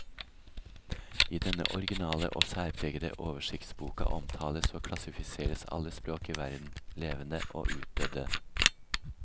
I denne orginale og særpregede oversiktsboka omtales og klassifiseres alle språk i verden, levende og utdødde.